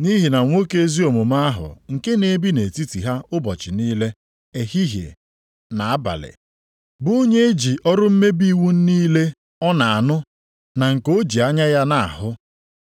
(nʼihi na nwoke ezi omume ahụ nke na-ebi nʼetiti ha ụbọchị niile, ehihie na abalị, bụ onye eji ọrụ mmebi iwu niile ọ na-anụ, na nke o ji anya ya na-ahụ,